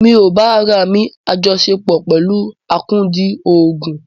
Mi ò bá ará mi àjọsepọ̀ pẹ̀lú akúndùn òògùn.